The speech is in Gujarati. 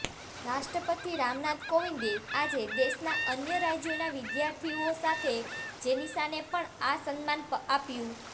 રાષ્ટ્રપતિ રામનાથ કોવિંદે આજે દેશના અન્ય રાજ્યોના વિદ્યાર્થીઓ સાથે જેનિશાને પણ આ સન્માન આપ્યું